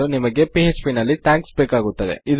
ಇದು ಶುರುವಾಗಲು ಹಾಗು ಅಂತ್ಯವಾಗಲು